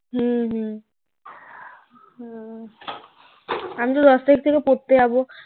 হুম হুম আমি তো দশ তারিক থেকে পড়তে যাবো